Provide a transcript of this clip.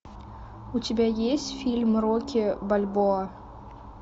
у тебя есть фильм рокки бальбоа